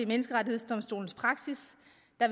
menneskerettighedsdomstols praksis